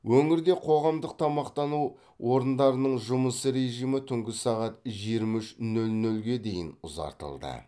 өңірде қоғамдық тамақтану орындарының жұмыс режимі түнгі сағат жиырма үш нөл нөлге дейін ұзартылды